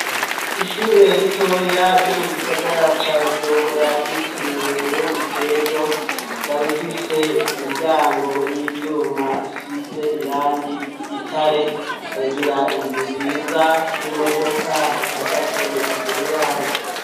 Ishure ritoya ryo mu gisagara ca bujumbura ryitiriwe Burundi bwejo ikaba ifise imiryango y'ivyuma isize irangi ry'igitare ikagira inzu nziza n'imodoka ihagaze imbere yaryo.